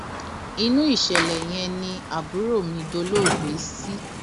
inú ìṣẹlẹ yẹn ni àbúrò mi dolóògbé sí